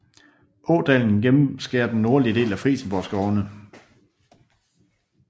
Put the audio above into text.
Ådalen gennemskærer den nordlige del af Frijsenborgskovene